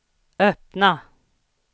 öppna